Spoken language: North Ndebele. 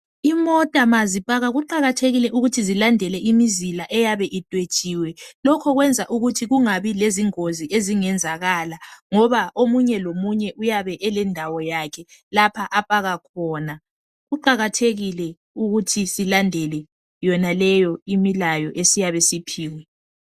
Imota mazipaka kuqakathelile ukuthi zilandele imizila eyabe idwetshiwe. Lokho kwenza ukuthi kungabi lezingozi ezingenzakala ngoba omunye lomunye uyabe elendawo yakhe lapha apaka khona. Kuqakathekile ukuthi silandele yonaleyo imilayo esiyabe siyiphiwe.